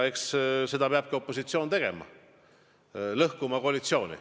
Eks seda peabki opositsioon tegema: lõhkuma koalitsiooni.